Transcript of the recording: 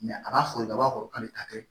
a b'a fɔli ka bɔ kɔrɔlen ta kɛ